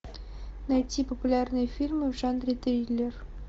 найти популярные фильмы в жанре триллер